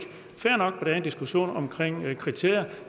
fair nok at en diskussion omkring kriterier